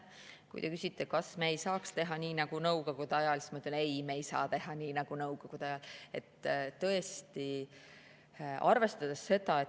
Kui te küsite, kas me ei saaks teha nii nagu Nõukogude ajal, siis ei, me ei saa teha nii nagu Nõukogude ajal.